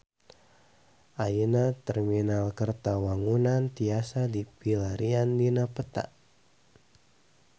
Ayeuna Terminal Kertawangunan tiasa dipilarian dina peta